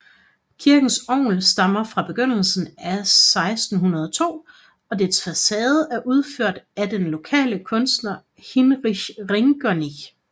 Kirkens orgel stammer fra begyndelsen af 1602 og dets facade er udført af den lokale kunstner Hinrich Ringerinck